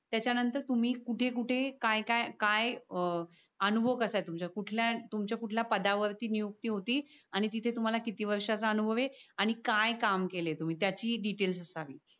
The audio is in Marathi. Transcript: त्याच्या नंतर तुम्ही कुटे कुटे काय काय काय अह अनुभव कसा आहे तुमचा कुठल्या तुमच्या कुठल्या पदावर नियुक्ती होती आणि तिथे तुम्हाला किती वर्ष च अनुभव आहे? आणि काय काम केलाय तुम्ही त्याची डिटेल असावी.